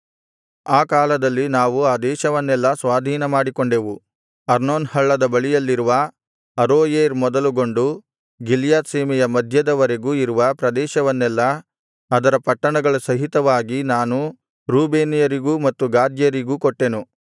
ಆ ಕಾಲದಲ್ಲಿ ನಾವು ಆ ದೇಶವನ್ನೆಲ್ಲಾ ಸ್ವಾಧೀನಮಾಡಿಕೊಂಡೆವು ಅರ್ನೋನ್ ಹಳ್ಳದ ಬಳಿಯಲ್ಲಿರುವ ಅರೋಯೇರ್ ಮೊದಲುಗೊಂಡು ಗಿಲ್ಯಾದ್ ಸೀಮೆಯ ಮಧ್ಯದ ವರೆಗೂ ಇರುವ ಪ್ರದೇಶವನ್ನೆಲ್ಲಾ ಅದರ ಪಟ್ಟಣಗಳ ಸಹಿತವಾಗಿ ನಾನು ರೂಬೇನ್ಯರಿಗೂ ಮತ್ತು ಗಾದ್ಯರಿಗೂ ಕೊಟ್ಟೆನು